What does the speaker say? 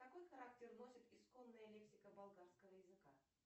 какой характер носит исконная лексика болгарского языка